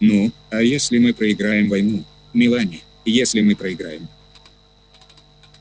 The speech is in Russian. ну а если мы проиграем войну мелани если мы проиграем